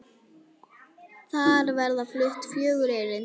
Þar verða flutt fjögur erindi.